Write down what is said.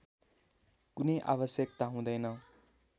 कुनै आवश्यकता हुँदैन